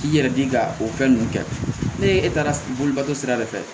I yɛrɛ di ka o fɛn ninnu kɛ ne e taara bolibato sira de fɛ